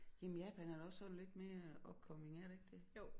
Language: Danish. Jamen Japan er da også sådan lidt mere upcoming er det ikke det